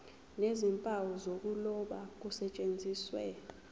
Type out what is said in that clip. nezimpawu zokuloba kusetshenziswe